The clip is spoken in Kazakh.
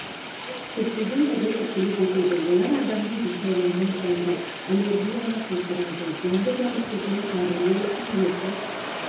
шіркейдің түрі тіршілік етеді олар адамның денсаулығына зиянды аллергияны қоздырады зиянды жәндіктерден арылу үшін ертіс